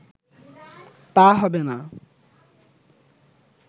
তা হবে না